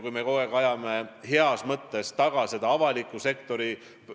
Kui me kogu aeg ajame heas mõttes taga seda avaliku sektori